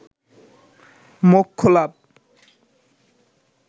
মোক্ষ লাভ